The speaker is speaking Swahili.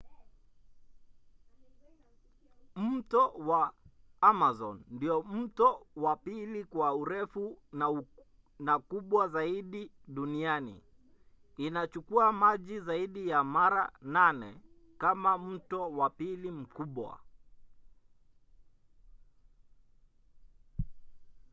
mto wa amazon ndiyo mto wa pili kwa urefu na kubwa zaidi duniani. inachukua maji zaidi ya mara 8 kama mto wa pili mkubwa